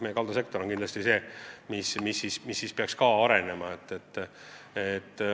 Kaldasektor peaks kindlasti edasi arenema.